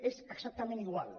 és exactament igual